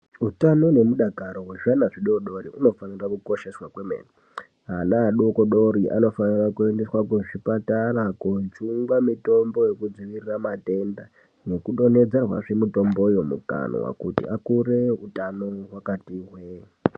Utano nemudakaro wezvana zvidoodori unofanira kukosheswa. Ana adokodori anofanira kuendeswa kuzvipatara kojungwa mitombo yekudzivirira matenda nekudonhedzerwazve mutombo yomukanwa kuti akure utano hwakati hwee.